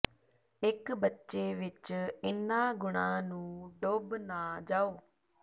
ਇੱਕ ਬੱਚੇ ਵਿੱਚ ਇਹਨਾਂ ਗੁਣਾਂ ਨੂੰ ਡੁੱਬ ਨਾ ਜਾਓ